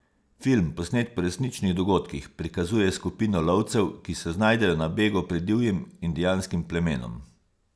Film, posnet po resničnih dogodkih, prikazuje skupino lovcev, ki se znajdejo na begu pred divjim indijanskim plemenom.